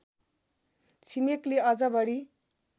छिमेकले अझ बढी